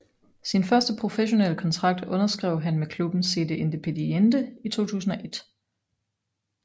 Sin første professionelle kontrakt underskrev han med klubben CD Independiente i 2001